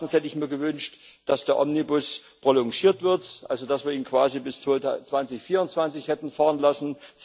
Erstens hätte ich mir gewünscht, dass der Omnibus prolongiert wird, also dass wir ihn quasi bis 2024 hätten fahren lassen.